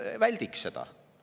Väldiks seda.